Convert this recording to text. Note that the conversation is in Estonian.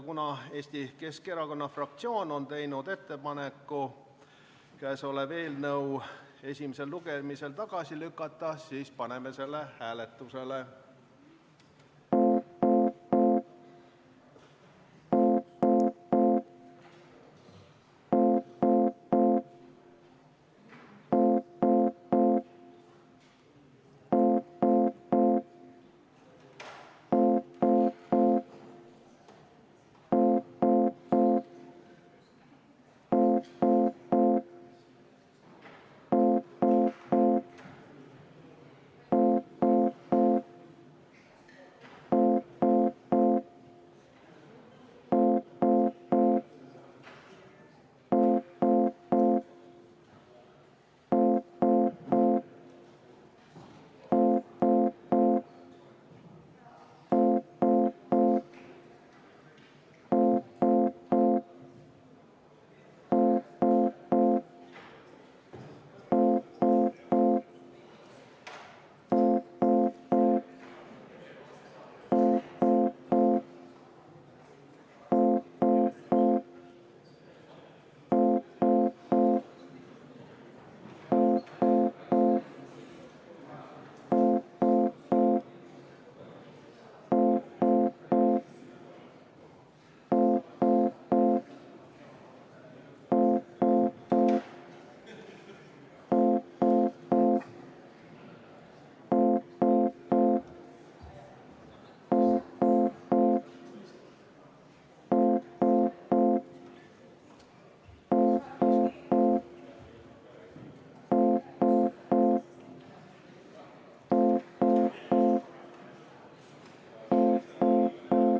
Kuna Eesti Keskerakonna fraktsioon on teinud ettepaneku eelnõu esimesel lugemisel tagasi lükata, siis paneme selle hääletusele.